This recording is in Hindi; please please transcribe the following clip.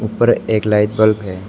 ऊपर एक लाइट बल्ब है।